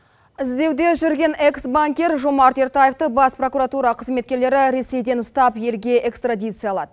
іздеуде жүрген экс банкир жомарт ертаевты бас прокуратура қызметкерлері ресейден ұстап елге экстрадициялады